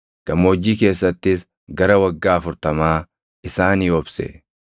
gammoojjii keessattis gara waggaa afurtamaa isaanii obse.